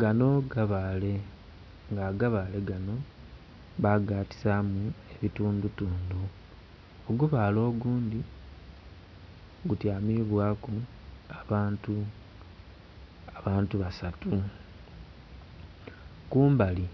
Gano gabaale, nga agabaale gano bagatisaamu ebitundutundu. Ogubaale ogundhi gutyamibwaku abantu, abantu basatu. Kumbali